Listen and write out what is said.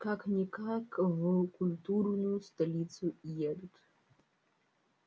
как-никак в культурную столицу едут